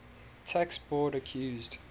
tax board accused